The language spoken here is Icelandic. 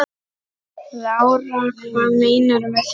Lára: Hvað meinarðu með því?